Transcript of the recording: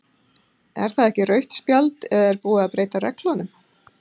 Er það ekki rautt spjald eða er búið að breyta reglunum?